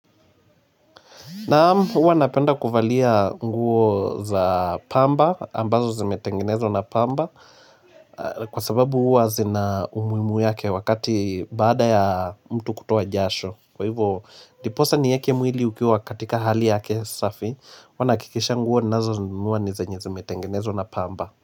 Naam, uwa napenda kuvalia nguo za pamba, ambazo zimetengenezwa na pamba, kwa sababu uwa zina umuimu yake wakati baada ya mtu kutoa jasho. Kwa hivo, ndiposa ni yeke mwili ukiwa katika hali yake safi, wana kikisha nguo nazo nguo ni zenye zimetengenezwa na pamba.